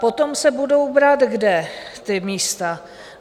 Potom se budou brát kde ta místa?